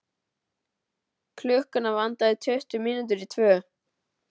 Klukkuna vantaði tuttugu mínútur í tvö.